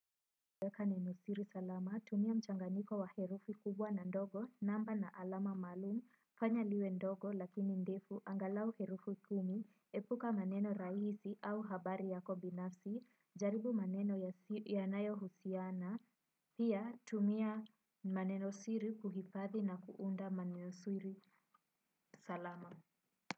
Tumia mchanganiko wa herufi kubwa na ndogo namba na alama maalumu fanya liwe ndogo lakini ndefu angalau herufi kumi epuka maneno rahisi au habari yako binafsi jaribu maneno ya nayo husiana pia tumia maneno siri kuhifadhi na kuunda maneno siri salama.